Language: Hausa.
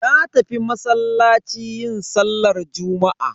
Na tafi masallaci yin sallar juma'a.